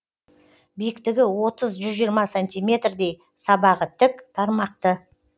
биіктігі отыз жүз жиырма сантиметрдей сабағы тік тармақты